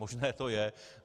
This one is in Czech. Možné to je.